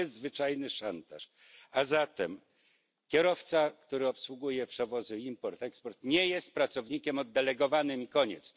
A zatem kierowca, który obsługuje przewozy import eksport, nie jest pracownikiem oddelegowanym i koniec.